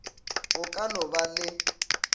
go ka no ba le